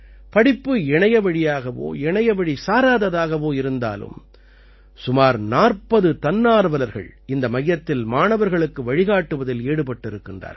படிப்பு இணையவழியாகவோ இணையவழி சாராததாகவோ இருந்தாலும் சுமார் 40 தன்னார்வலர்கள் இந்த மையத்தில் மாணவர்களுக்கு வழிகாட்டுவதில் ஈடுபட்டிருக்கிறார்கள்